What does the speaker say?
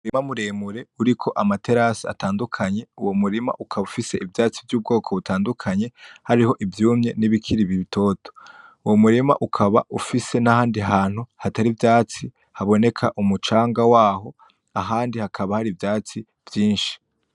Umurima muremure uriko amaterasi atandukanye uwo murima ukaba ufise ivyatsi vy'ubwoko butandukanye hariho ivyumye n'ibikiri bitoto uwo murima ukaba ufise n'ahandi hantu hatari ivyatsi haboneka umucanga waho ahandi hakaba hari ivyatsi vyishi.